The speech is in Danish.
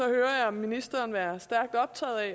hører jeg ministeren være stærkt optaget af at